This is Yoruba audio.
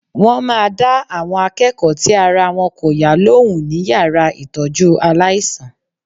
Wọ́n máa dá àwọn akẹ́kọ̀ọ́ tí ara wọn kò yá lóhùn ní yàrá ìtọ́jú aláìsàn.